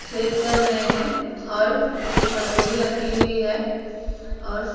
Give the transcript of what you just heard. छेद कर रहे हैं और एक हथौड़ी रखी हुई है और --